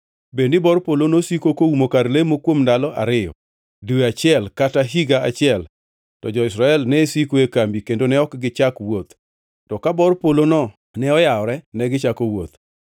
Bed ni bor polo nosiko koumo kar lemo kuom ndalo ariyo, dwe achiel kata higa achiel, to jo-Israel ne siko e kambi kendo ne ok gichak wuoth; to ka bor polono ne oyawore, to negichako wuoth.